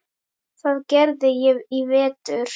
Það gerði ég í vetur.